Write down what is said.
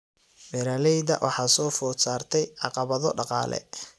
Beeralayda waxaa soo food saartay caqabado dhaqaale.